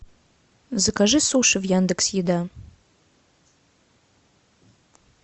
закажи суши в яндекс еда